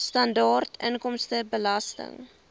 sibw standaard inkomstebelasting